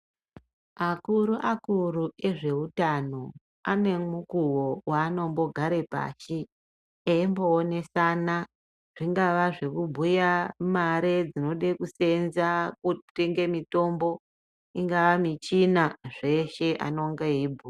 Akuru akuru ezveutano ane mukuwo wanombogare pashi eimboonesa zvingaa zvekubhuya mare dzinode kuseenza kutenge mitombo ,ingaa michina zveshe anonga eibhuya.